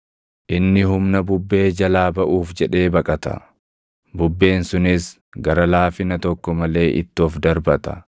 Inni humna bubbee jalaa baʼuuf jedhee baqata; bubbeen sunis gara laafina tokko malee itti of darbata.